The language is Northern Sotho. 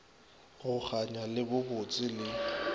go kganya le bobotse le